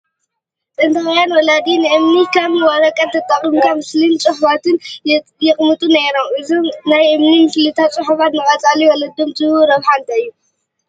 ጥንታውያን ወለዲ ንእምኒ ከም ወረቐት ተጠቒሞም ምስልታትን ፅሑፋትን የቕምጡ ነይሮም፡፡ እዞም ናይ እምኒ ምስልታትን ፅሑፋትን ንቀፃሊ ወለዶ ዝህብዎ ረብሓ እንታይ እዩ?